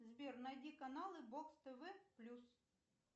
сбер найди каналы бокс тв плюс